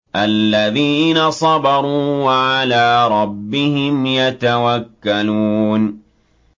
الَّذِينَ صَبَرُوا وَعَلَىٰ رَبِّهِمْ يَتَوَكَّلُونَ